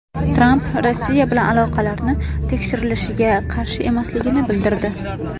Tramp Rossiya bilan aloqalari tekshirilishiga qarshi emasligini bildirdi.